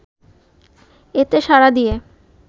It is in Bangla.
এতে সাড়া দিয়ে